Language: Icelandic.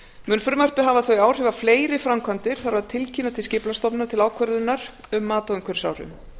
mun frumvarpið hafa þau áhrif að fleiri framkvæmdir þarf að tilkynna til skipulagsstofnunar til ákvörðunar um mat á umhverfisáhrifum